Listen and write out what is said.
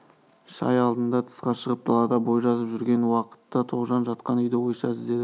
шай алдында тысқа шығып далада бой жазып жүрген уақытта тоғжан жатқан үйді ойша іздеді